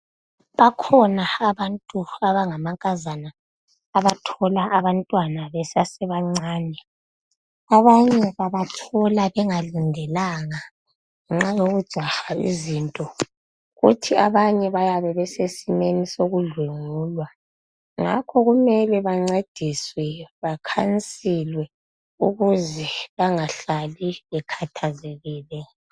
Bakhona abantu abangamankazana abathola abantwana besesebancane. Abanye babathola bengalindelanga nganxa yokujaha izinto kuthi abanye bayabe besesimeni sokudlwengulwa ngakho kumele bancediswe, bakhansilwe ukuze bangahlali bekhathazekile.